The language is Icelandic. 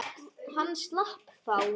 Hann slapp þá.